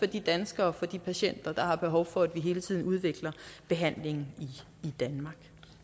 de danskere og de patienter der har behov for at vi hele tiden udvikler behandlingen i danmark